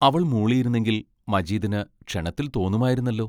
അവൾ മൂളിയിരുന്നെങ്കിൽ മജീദിന് ക്ഷണത്തിൽ തോന്നുമായിരുന്നല്ലോ!